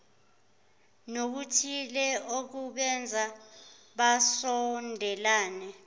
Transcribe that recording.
nokuthile okubenza basondelane